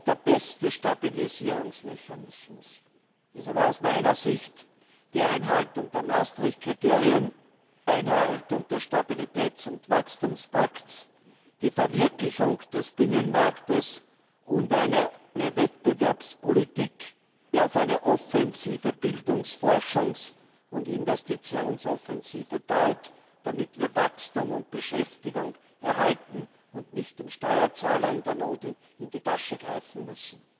Der beste Stabilisierungsmechanismus ist aus meiner Sicht die Einhaltung der Maastricht Kriterien, die Einhaltung des Stabilitäts und Wachstumspakts, die Verwirklichung des Binnenmarktes und eine Wettbewerbspolitik, die auf eine offensive Bildungs Forschungs und Investitionsoffensive baut, damit wir Wachstum und Beschäftigung erhalten und nicht dem Steuerzahler in der Not in die Tasche greifen müssen.